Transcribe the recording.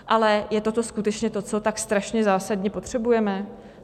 Ale je toto skutečně to, co tak strašně zásadně potřebujeme?